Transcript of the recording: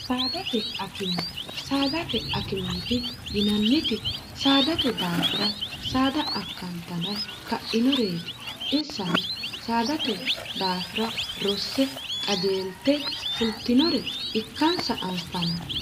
saadate akimiiti yinanniti saadate daafira saada akkantana ka'inoreeti insano saadate daafira rosse qajeelte fultinore ikkansa anfanni